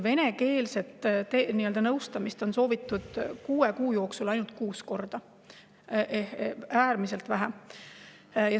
Venekeelset nõustamist on kuue kuu jooksul soovitud ainult kuus korda – äärmiselt vähe.